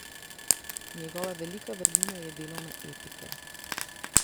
Njegova velika vrlina je delovna etika.